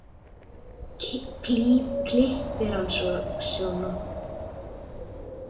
Klippir hann sig svona.